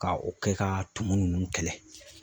Ka o kɛ ka tumuni ninnu kɛlɛ